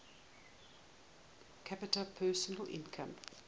capita personal income